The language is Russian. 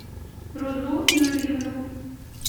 рузу юрьевну